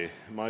Nõus!